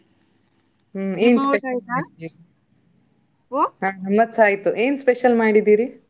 ನನ್ನದ್ಸಾ ಆಯ್ತು. ಏನ್ special ಮಾಡಿದಿರಿ?